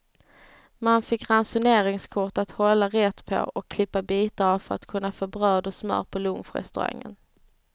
Man fick ransoneringskort att hålla rätt på och klippa bitar av för att kunna få bröd och smör på lunchrestaurangen.